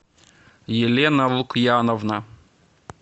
елена лукьяновна